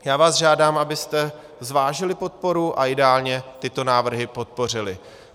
Já vás žádám, abyste zvážili podporu a ideálně tyto návrhy podpořili.